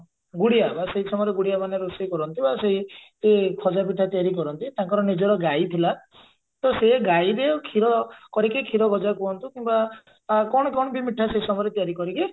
ଗୁଡିଆ ବା ସେଇ ସମୟରେ ଗୁଡିଆ ମାନେ ରୋଷେଇ କରନ୍ତି ବା ସେଇ ଖଜା ପିଠା ତିଆରି କରନ୍ତି ତାଙ୍କର ନିଜର ଗାଈ ଥିଲା ତ ସେଇ ଗାଈବି ଆଉ କ୍ଷୀର କରିକି କ୍ଷୀରଗଜା କୁହନ୍ତୁ କିମ୍ବା ଅ କଣ କଣ ବି ମିଠା ସେ ସମୟରେ ତିଆରି କରିକି